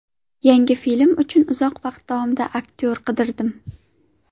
Yangi filmim uchun uzoq vaqt davomida aktyor qidirdim.